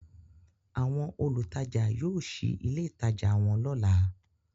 Àwọn olutaja yóò sí ìlé itaja wón lọla.